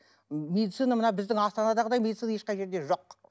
медицина мына біздің астанадағыдай медицина ешқай жерде жоқ